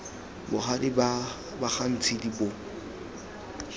bogadi ba ga ntshidi bo